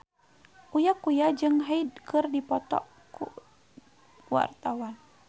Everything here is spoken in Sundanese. Uya Kuya jeung Hyde keur dipoto ku wartawan